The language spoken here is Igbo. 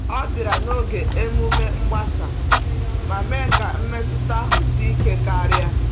Ọ bịara n’oge emume mgbasa, ma mee ka mmetụta ahụ sie ike karịa.